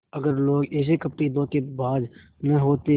अगर लोग ऐसे कपटीधोखेबाज न होते